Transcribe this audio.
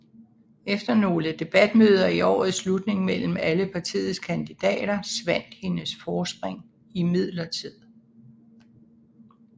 Efter nogle debatmøder i årets slutning mellem alle partiets kandidater svandt hendes forspring imidlertid